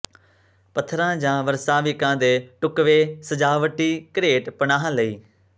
ਪੱਥਰਾਂ ਜਾਂ ਵਸਰਾਵਿਕਾਂ ਦੇ ਢੁਕਵੇਂ ਸਜਾਵਟੀ ਘਰੇਟ ਪਨਾਹ ਲਈ